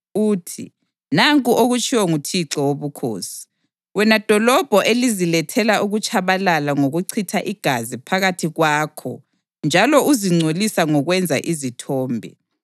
uthi: Nanku okutshiwo nguThixo Wobukhosi: Wena dolobho elizilethela ukutshabalala ngokuchitha igazi phakathi kwakho njalo uzingcolisa ngokwenza izithombe,